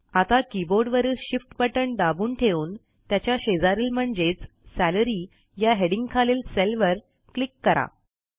आता कीबोर्ड वरील शिफ्ट बटण दाबून ठेवून त्याच्या शेजारील म्हणजेच सॅलरी या हेडिंगखालील सेलवर क्लिक करा